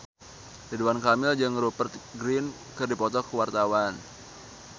Ridwan Kamil jeung Rupert Grin keur dipoto ku wartawan